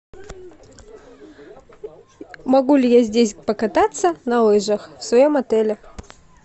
могу ли я здесь покататься на лыжах в своем отеле